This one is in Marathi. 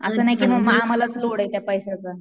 असं नाही कि म आम्हालाच लोडे त्या पैस्याचा.